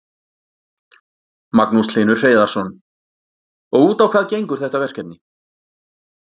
Magnús Hlynur Hreiðarsson: Og út á hvað gengur þetta verkefni?